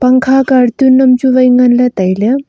pangkha cartoon numchu nganley tailey.